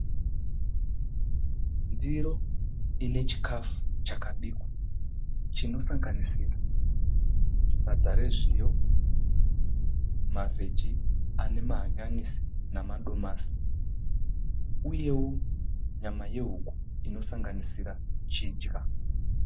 Ndiro ine chikafu chakabikwa chinosanganira sadza rezviyo, mavheji ane mahanyanisi nemadomasi uyewo nyama yehuku inosanganisira chidya.